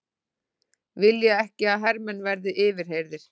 Vilja ekki að hermenn verði yfirheyrðir